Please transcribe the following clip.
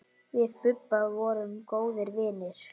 Við Bubba vorum góðir vinir.